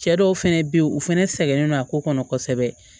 Cɛ dɔw fɛnɛ be yen u fɛnɛ sɛgɛnnen don a ko kɔnɔ kosɛbɛ